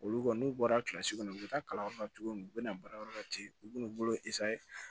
Olu kɔni n'u bɔra kilasi kɔnɔ u bɛ taa kalanyɔrɔ la cogo min u bɛna baarayɔrɔ la ten u bɛna u bolo